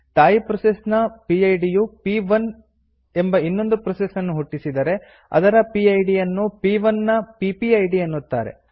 ತಾಯಿ ಪ್ರೋಸೆಸ್ ನ ಪಿಡ್ ಯು ಪ್1 ಎಂಬ ಇನ್ನೊಂದು ಪ್ರೋಸೆಸ್ ನ್ನು ಹುಟ್ಟಿಸಿದರೆ ಅದರ ಪಿಡ್ ಯನ್ನು ಪ್1 ನ ಪಿಪಿಐಡಿ ಎನ್ನುತ್ತಾರೆ